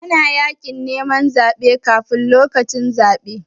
Ana yin yaƙin neman zaɓe kafun lokacin zaɓe.